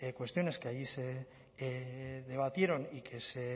cuestiones que allí se debatieron y que se